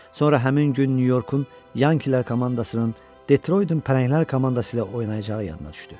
Sonra həmin gün Nyu-Yorkun Yankilər komandasının Detroitin pələnglər komandası ilə oynayacağı yadına düşdü.